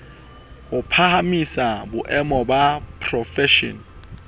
ho phahamisa boemo ba profeshene